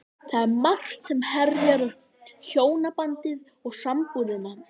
Það er margt sem herjar á hjónabandið og sambúðina.